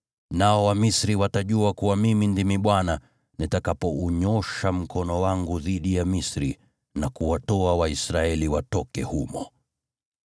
Nao Wamisri watajua kuwa Mimi ndimi Bwana nitakapounyoosha mkono wangu dhidi ya Misri na kuwatoa Waisraeli watoke humo.”